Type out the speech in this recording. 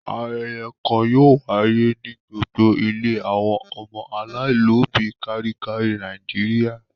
Ayẹyẹ kan yóò wáyé ní gbogbo ilé àwọn ọmọ aláìlóòbí káàkiri Nàìjíríà.